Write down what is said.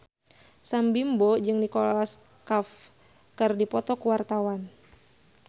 Sam Bimbo jeung Nicholas Cafe keur dipoto ku wartawan